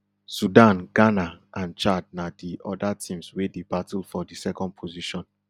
sudan ghana and chad na di oda teams wey dey battle for di second position